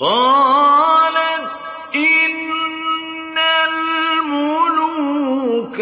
قَالَتْ إِنَّ الْمُلُوكَ